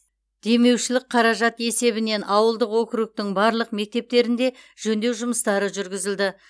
демеушілік қаражат есебінен ауылдық округтің барлық мектептерінде жөндеу жұмыстары жүргізілді